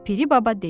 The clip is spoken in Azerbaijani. Piri baba dedi.